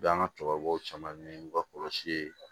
U bɛ an ka cɛkɔrɔbaw caman ɲini n'u ka kɔlɔsi ye